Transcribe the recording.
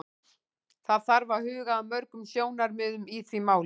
Það þarf að huga að mörgum sjónarmiðum í því máli.